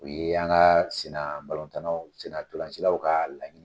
U ye an ka senna tan naw senna ntɔlancilaw ka laɲini